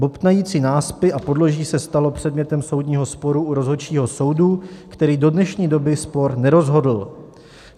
Bobtnající náspy a podloží se staly předmětem soudního sporu u rozhodčího soudu, který do dnešní doby spor nerozhodl.